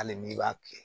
Hali n'i b'a kɛ